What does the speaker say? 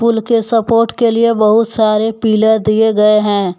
पुल के सपोट के लिए बहुत सारे पिलर दिए गए हैं।